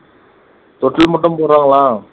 தொட்டில் மட்டும் போடுறாங்களாம்.